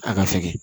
A ka fɛgɛn